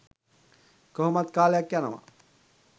කොහොමත් කාලයක් යනවා